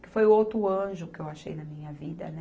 Que foi o outro anjo que eu achei na minha vida, né?